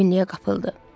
Bədbinliyə qapıldı.